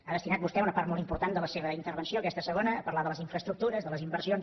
ha destinat vostè una part molt important de la seva intervenció aquesta segona a parlar de les infraestructures de les inversions